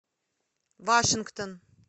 вашингтон